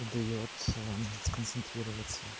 даётся сконцентрироваться